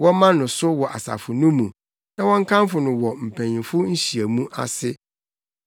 Wɔmma no so wɔ asafo no mu na wɔnkamfo no wɔ mpanyimfo nhyiamu ase.